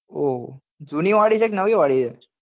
ઓહો જૂની વાળી છે કે નવી વાળી